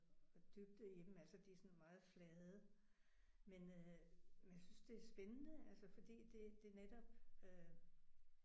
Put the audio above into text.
Dybde i dem altså de er sådan meget flade men øh men jeg synes det er spændende altså fordi det det netop øh